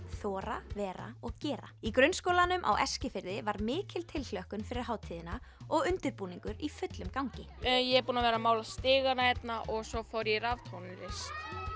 þora vera og gera í grunnskólanum á Eskifirði var mikil tilhlökkun fyrir hátíðina og undirbúningur í fullum gangi ég er búin að vera að mála stigana hérna og svo fór ég í raftónlist